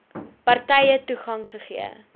partye toegang gegee